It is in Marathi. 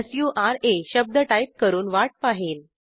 SURAशब्द टाईप करून वाट पाहेन